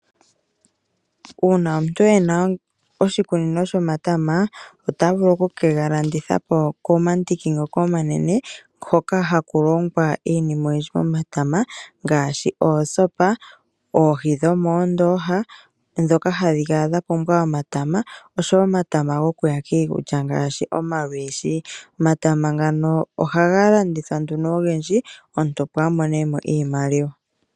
Uuna omuntu ena oshikunino shomatama ota vulu okuke ga landitha po komandiki ngoka omanene hoka haku longwa iinima oyindji momatama ngaashi oosopa, oohi dhomoondoha ndhoka hadhi kala dha pumbwa omatama oshowo omatama gokuya kiikulya ngaashi omalwiishi. Omatama ngano ohaga landithwa nduno ogendji omuntu opo a mone mo iimaliwa.